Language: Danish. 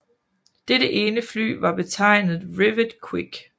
Dette ene fly var betegnet Rivet Quick